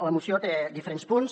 la moció té diferents punts